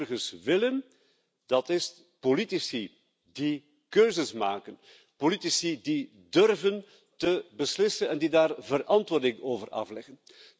Wat de burgers willen, is politici die keuzes maken, politici die durven te beslissen en die daar verantwoording over afleggen.